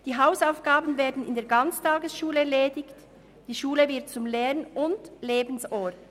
Die Hausaufgaben werden in der Ganztagesschule erledigt, die Schule wird zum Lern- und Lebensort.